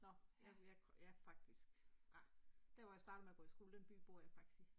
Nåh? Jamen jeg jeg faktisk ah, der hvor jeg startede med at gå i skole den by bor jeg faktisk i